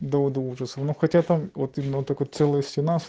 до ужаса ну хотя там вот именно целую